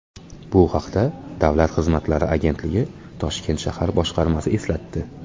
Bu haqda Davlat xizmatlari agentligi Toshkent shahar boshqarmasi eslatdi.